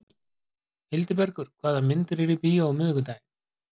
Hildibergur, hvaða myndir eru í bíó á miðvikudaginn?